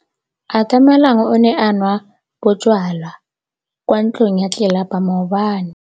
Atamelang o ne a nwa bojwala kwa ntlong ya tlelapa maobane.